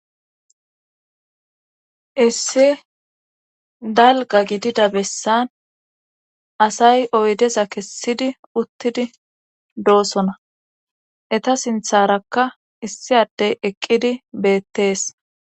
Iissi dalga gidida bessan asay oydeza kessidi uttidi doosona eta sintharakka issi addey eqqidi beettees.